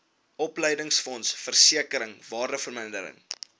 opleidingsfonds versekering waardevermindering